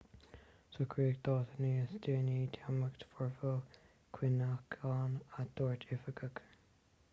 socraíodh dáta níos déanaí d'imeacht foirmiúil cuimhneacháin a dúirt oifigigh